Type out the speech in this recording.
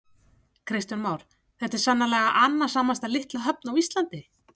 Kristján Már: Þetta er sennilega annasamasta litla höfn á Íslandi?